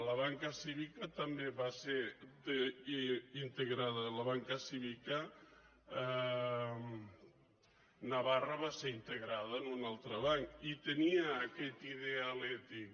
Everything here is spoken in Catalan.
la banca cívica també va ser integrada navarra va ser integrada en un altre banc i tenia aquest ideal ètic